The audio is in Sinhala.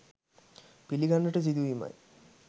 පිළිගන්නට සිදුවීමයි.